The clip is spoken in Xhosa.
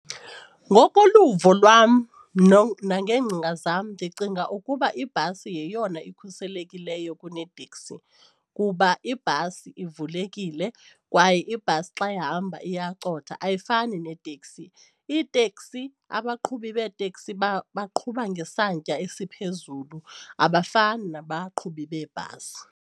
Ngokoluvo lwam nangeengcinga zam ndicinga ukuba ibhasi yeyona ikhuselekileyo kuneeteksi kuba ibhasi ivulekile kwaye ibhasi xa yahamba iyacotha ayifani neeteksi. Iiteksi abaqhubi beetekisi baqhuba ngesantya esiphezulu abafani nabaqhubi beebhasi.